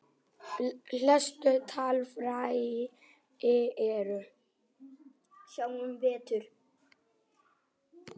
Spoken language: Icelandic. Helstu talfæri eru